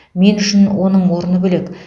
мен үшін оның орны бөлек